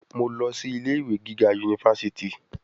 Mo lọ sí ilé-ìwe gíga yunifásítì.